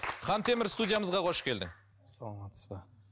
хантемір студиямызға қош келдің саламатсыз ба